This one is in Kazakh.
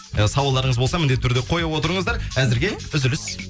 і сауалдарыңыз болса міндетті түрде қоя отырыңыздар әзірге үзіліс